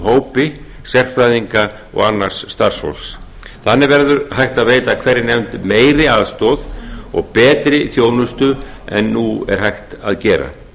hópi sérfræðinga og annars starfsfólks þannig verður hægt að veita hverri nefnd meiri aðstoð og betri þjónustu en nú er hægt að gera